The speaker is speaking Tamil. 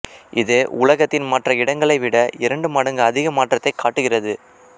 இது உலகத்தின் மற்ற இடங்களை விட இரண்டு மடங்கு அதிக மாற்றத்தை காட்டுகிறது